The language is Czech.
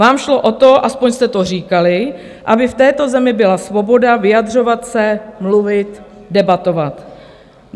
Vám šlo o to, aspoň jste to říkali, aby v této zemi byla svoboda vyjadřovat se, mluvit, debatovat.